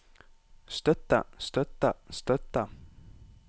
støtte støtte støtte